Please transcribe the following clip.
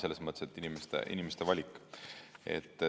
Selles mõttes, et inimeste valik.